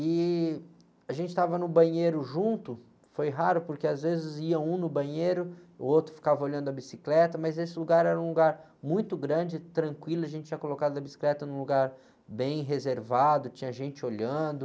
E a gente estava no banheiro junto, foi raro porque às vezes ia um no banheiro, o outro ficava olhando a bicicleta, mas esse lugar era um lugar muito grande, tranquilo, a gente tinha colocado a bicicleta num lugar bem reservado, tinha gente olhando.